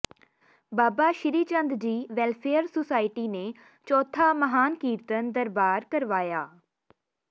ਬਾਬਾ Srichand ji welfare society ਨੇ ਚੌਥਾ ਮਹਾਨ ਕੀਰਤਨ ਦਰਬਾਰ ਕਰਵਾਇਆ